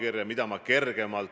Mis jääb kindlasti kehtima?